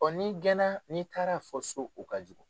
Ɔ n'i gɛnna n'i taara fɔ so o ka jugu